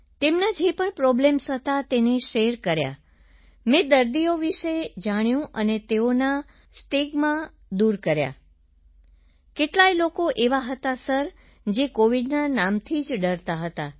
તેમના જે પણ પ્રોબ્લેમ હતા તેને શેર કર્યા મેં દર્દીઓ વિશે જાણ્યું અને તેઓના સ્ટિગમાં દૂર કર્યા સર કેટલાય લોકો એવા હતા સર જે કોવિડના નામથી જ ડરતા હતા